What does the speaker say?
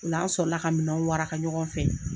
O la an sɔrɔ la ka minɛnw waraka ɲɔgɔn fɛ.